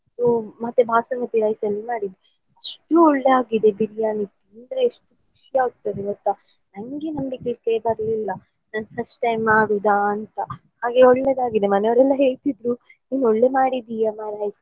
ಮತ್ತೇ basmati rice ಅಲ್ಲಿ ಮಾಡಿದ್ದು ಒಳ್ಳೆ ಆಗಿದೆ biriyani ಖುಷಿಯಾಯಾಗ್ತದೆ ಗೊತ್ತಾ ನಂಗೆ ನಂಬಿಕೆ ಬರ್ಲಿಲ್ಲಾ ನಾನ್ first time ಮಾಡುದಾ ಅಂತ ಹಾಗೆ ಒಳ್ಳೇದಾಗಿದೆ ಮನೆಯವ್ರೆಲ್ಲ ಹೇಳ್ತಿದ್ರು ನೀನು ಒಳ್ಳೆ ಮಾಡಿದ್ದೀಯಾ .